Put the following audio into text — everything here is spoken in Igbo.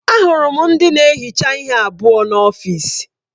Ahụrụ m ndị na-ehicha ihe abụọ n'ọfịs.